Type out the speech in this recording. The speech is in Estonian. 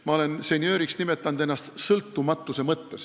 Ma olen ennast senjööriks nimetanud sõltumatuse mõttes.